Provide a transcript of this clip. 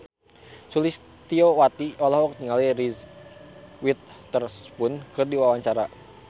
Sulistyowati olohok ningali Reese Witherspoon keur diwawancara